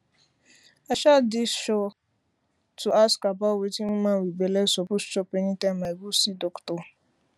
i um dey sure um to ask about wetin woman wit belle suppose chop anytime i go um see doctor